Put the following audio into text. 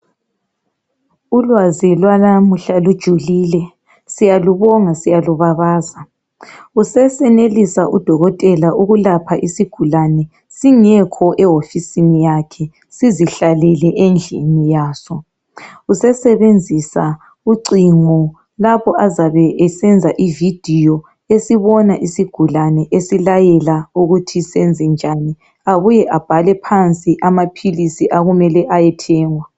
Ulwazi lwanamuhla lujulile siyalubonga siyalubabaza sesenelisa udokotela ukwelapha isigulane singekho ehofisini yakhe sizihlalele endlini yaso usesebenzisa ucingo lapho azabe esenza ivideo esibona esigulane esilayela ukuthi senze njani abuye abhale phansi amaphilisi okumele ayathengwa